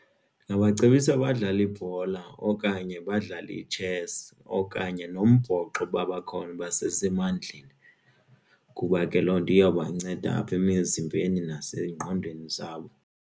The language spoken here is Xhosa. Ndingabacebisa badlale ibhola okanye badlale itshesi okanye nombhoxo basesemandleni kuba ke loo nto iyobanceda apha emizimbeni nasengqondweni zabo.